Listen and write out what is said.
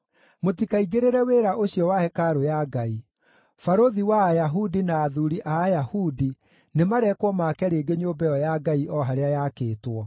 Mũtikaingĩrĩre wĩra ũcio wa hekarũ ya Ngai. Barũthi wa Ayahudi na athuuri a Ayahudi nĩmarekwo maake rĩngĩ nyũmba ĩyo ya Ngai o harĩa yaakĩtwo.